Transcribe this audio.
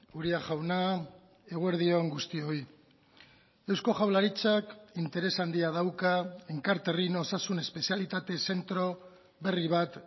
uria jauna eguerdi on guztioi eusko jaurlaritzak interes handia dauka enkarterrin osasun espezialitate zentro berri bat